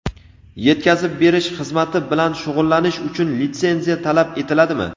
Yetkazib berish xizmati bilan shug‘ullanish uchun litsenziya talab etiladimi?.